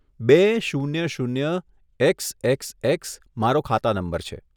બે શૂન્ય શૂન્ય એક્સ એક્સ એક્સ મારો ખાતા નંબર છે.